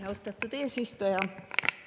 Austatud eesistuja!